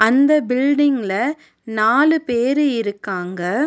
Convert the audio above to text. அந்த பில்டிங்ல நாலு பேரு இருக்காங்க.